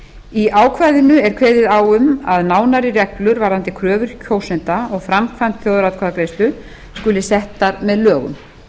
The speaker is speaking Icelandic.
í ákvæðinu er kveðið á um að nánari reglur varðandi kröfur kjósenda og framkvæmd þjóðaratkvæðagreiðslu skuli settar með lögum